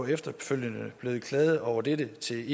efterfølgende blevet klaget over dette til